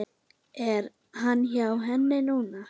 Er hann hjá henni núna?